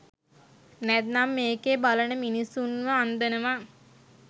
නැත්නම් මේකේ බලන මිනිස්සුන්ව අන්දනවා